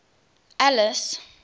alice